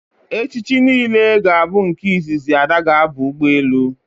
echichi niile ga bu nke izizi Ada ga aba ụgbọelu